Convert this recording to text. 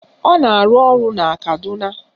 Ọ na-arụ ọrụ na Kaduna